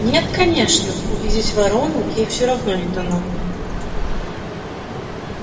нет конечно увидеть воронку ей всё равно не дано